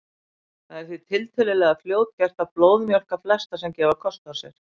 Það er því tiltölulega fljótgert að blóðmjólka flesta sem gefa kost á sér.